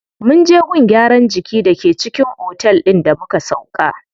Munje gun gyaran jiki da ke cikin otel din da muka sauƙa.